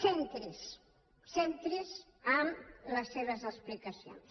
centri’s centri’s en les seves explicacions